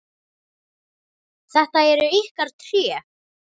Þetta eru ykkar tré.